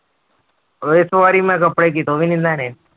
ਇਸ ਵਾਰੀ ਮੈਂ ਕੱਪੜੇ ਕਿਤੋਂ ਵੀ ਨੀ ਲੈਣੇ।